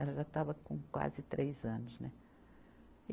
Ela já estava com quase três anos, né?